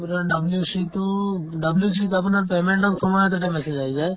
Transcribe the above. আৰু আপোনাৰ WC তো WC ত আপোনাৰ payment dot comma তাতে message আহি যায়